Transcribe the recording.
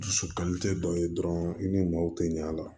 Dusukali tɛ dɔ ye dɔrɔn i ni maaw tɛ ɲa a la